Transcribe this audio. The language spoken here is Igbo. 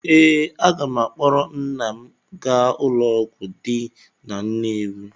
Ee, aga m akpọrọ nna m gaa ụlọọgwụ dị na Nnewi.